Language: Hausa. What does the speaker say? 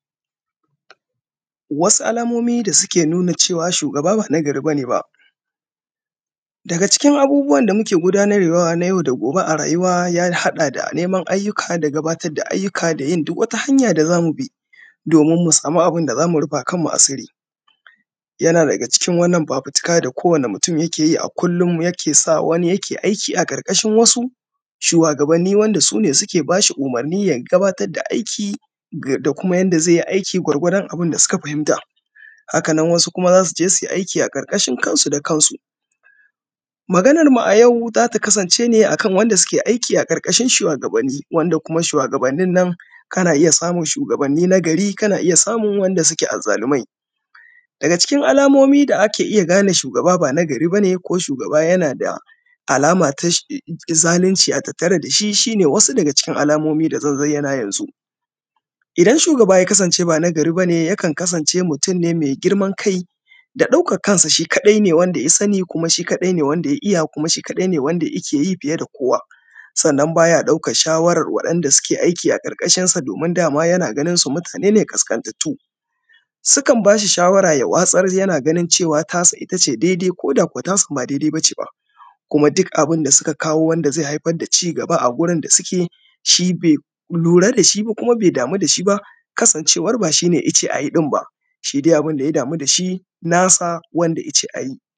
Wasu alamomi da suke nuna cewa shugaba ba na gariba ne ba. Daga cikin abubuwan da muke gundarwa na yau da gobe a rayuwa, ya haɗa da neman ayyuka da gabatar da ayyuka da yin duka wata hanyuka da za mu bi domin mu samu abun da za mu rufa kanmu. Asiri yana daga cikin fafutika da ko wani mutum yake yi, a kullum yake sa wani yake aiki a ƙarƙashin wasu shuwagabanni, wanda su ne suke ba su umarini ya gabatar da aiki da kuma yanda ze yi aiki gwargwadon abun da suka fahimta. Hakan nan kuma wasu za su je su yi aiki a ƙarƙashin kansu da kansu. Maganarmu a yau za ta kasance ne akan waɗanda suke aiki a ƙarƙashin shuwagabanni. Wanda kuma shuwagabannin na, kana iya samun shugaban na gari, kana iya samun waɗanda suke azzalumai. Daga cikin alamomi da ake gane shugaba ba na gari ba ne ko shugaba yana da alama na zalunci a tattare da shi. Shi ne wasu daga cikin alamomi da zan bayyana yanzu. Idan shugaba ya kasance ba na gari ba ne ba, yakan kasance mutum ne me girman kai da ɗaukan kansa shi kaɗai ne wanda ya sani, kuma shi kaɗai ne wanda ya iya kawai. Shi kaɗai ne wanda yake fiye da kowa, sanan ba ya ɗaukan shawarar mutanen da suke aiki a ƙarƙashinsa, domin dama yana ganin su mutane ne ƙasaƙantattu. Sukan ba shi shawara, ya watsar yana ganin tasa ita ce dai-dai koda koda kuwa tasan ba dai-dai ba ce ba. Kuma duk abun da suka kawo wanda ze haifar da cigaba gurin da suke, shi be lura da shi ba, kuma be damu da shi ba. Kasancewan ba shi ne ya ce a yi ɗinba, shi dai abun da ya damu da shi nasa wanda ya ce a yi.